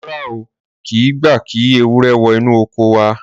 Rárá, a ò kì í gba kí ewúrẹ́ wọ inú oko wa.